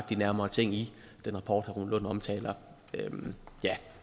de nærmere ting i den rapport herre rune lund omtaler